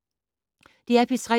DR P3